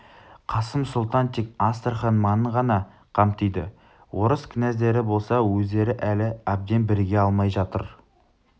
қасым сұлтан тек астрахань маңын ғана қамтиды орыс князьдары болса өздері әлі әбден біріге алмай жатыр